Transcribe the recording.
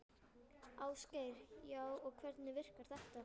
Ásgeir: Já, og hvernig virkar þetta?